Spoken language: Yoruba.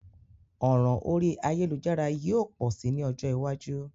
Òràn orí ayélujára yio pò si ni ojó iwájú